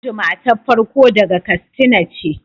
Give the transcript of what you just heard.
Audu matar farko daga kastina ce